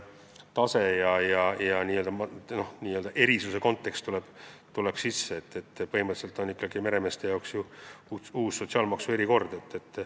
Põhimõtteliselt hakkab meremeeste jaoks kehtima uus sotsiaalmaksu erikord.